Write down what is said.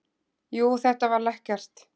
Jú, þetta var lekkert.